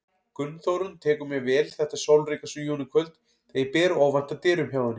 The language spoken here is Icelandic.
Gunnþórunn tekur mér vel þetta sólríka júníkvöld þegar ég ber óvænt að dyrum hjá henni.